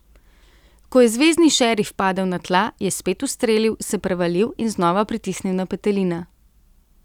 Ko je zvezni šerif padel na tla, je spet ustrelil, se prevalil in znova pritisnil na petelina.